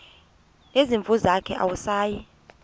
nezimvu zakhe awusayi